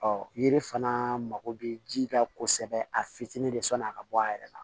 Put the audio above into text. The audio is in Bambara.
yiri fana mako bɛ ji la kosɛbɛ a fitinin de sɔnni a ka bɔ a yɛrɛ la